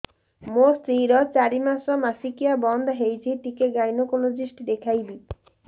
ମୋ ସ୍ତ୍ରୀ ର ଚାରି ମାସ ମାସିକିଆ ବନ୍ଦ ହେଇଛି ଟିକେ ଗାଇନେକୋଲୋଜିଷ୍ଟ ଦେଖେଇବି